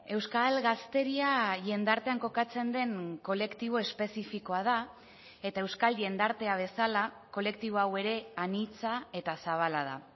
euskal gazteria jendartean kokatzen den kolektibo espezifikoa da eta euskal jendartea bezala kolektibo hau ere anitza eta zabala da